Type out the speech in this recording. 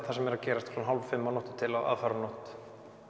það sem er gerast klukkan hálf fimm á aðfararnótt